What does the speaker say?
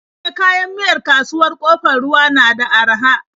E, kayan miyar kasuwar Ƙofar Ruwa na da araha.